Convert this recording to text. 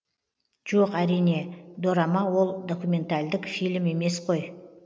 жоқ әрине дорама ол документальдік фильм емес қой